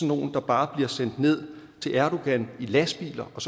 nogle der bare bliver sendt ned til erdogan i lastbiler og